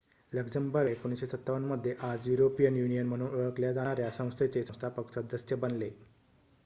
Luxembourg १९५७ मध्ये आज European Union म्हणून ओळखल्या जाणाऱ्या संस्थेचे संस्थापक सदस्य बनले